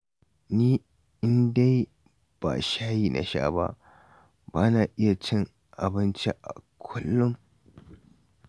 Ni in dai ba shayi na sha ba, ba na iya cin abinci a kullum